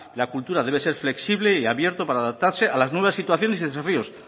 la cultura debe ser flexible y abierto para adaptarse a las nuevas situaciones y desafíos